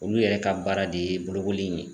Olu yɛrɛ ka baara de ye bolokoli ye.